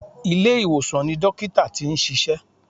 Ilé-ìwòsàn ni dọ́kítà tí n ṣiṣẹ́.